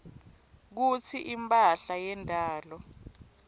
kutsi imphahla yendalo